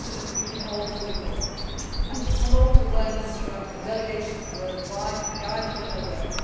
We can always do more to promote awareness throughout our delegations worldwide and guide them in their work.